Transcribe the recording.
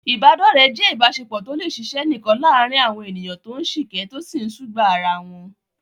Ìbádọ́rẹ̀ẹ́ jẹ́ ìbáṣepọ̀ tó lè ṣiṣẹ́ nìkan láàárín àwọn ènìyàn tó ń sìkẹ́, tó sì ń sùgbàá ara wọn.